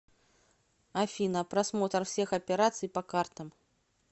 афина просмотр всех операций по картам